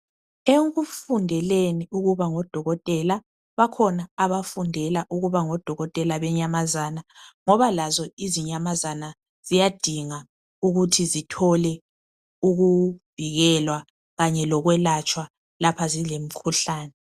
Ekufundeleni ukuba nguDokotela bakhona abafundela ukuba ngo Dokotela benyamazana ngoba lazo izinyamazana ziyadinga ukuthi zithole ukuvikelwa kanye lokwelatshwa lapha zilemkhuhlane.